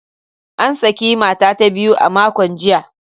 An saki mata ta biyu a makon jiya.